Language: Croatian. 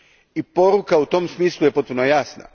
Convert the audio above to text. I poruka u tom smislu je potpuno jasna.